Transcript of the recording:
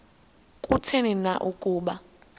kutheni na ukuba